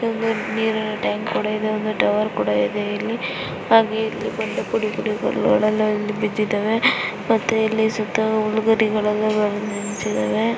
ಒಂದು ನೀರಿನ ಟ್ಯಾಂಕ್ ಕೂಡಾ ಇದೆ ಒಂದು ಟವರ್ ಕೂಡಾ ಇದೆ ಇಲ್ಲಿ ಹಾಗೆಯೆ ಇಲ್ಲಿ ಬಂಡೆ ಪುಡಿ ಪುಡಿಯಾಗಿ ರೋಡಲ್ಲಿ ಅಲ್ಲಿ ಬಿದ್ದಿದವೇ ಮತ್ತೆ ಇಲ್ಲಿ ಸುತ್ತಲೂ ಹುಲ್ಲು ಗರಿಗಳೆಲ್ಲಾ ಬೆಳೆದು ನಿಂತಿದವೆ.